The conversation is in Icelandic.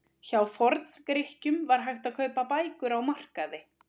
Hjá Forngrikkjum var hægt að kaupa bækur á markaði.